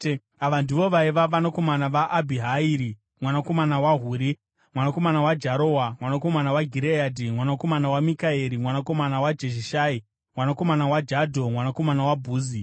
Ava ndivo vaiva vanakomana vaAbhihairi mwanakomana waHuri, mwanakomana waJarowa, mwanakomana Gireadhi, mwanakomana waMikaeri, mwanakomana waJeshishai, mwanakomana waJadho, mwanakomana waBhuzi.